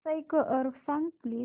score सांग please